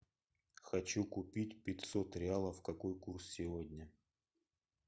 хочу купить пятьсот реалов какой курс сегодня